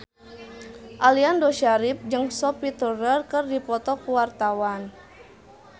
Aliando Syarif jeung Sophie Turner keur dipoto ku wartawan